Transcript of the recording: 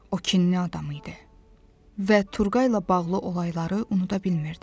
O kinli adam idi və Turqay ilə bağlı olayları unuda bilmirdi.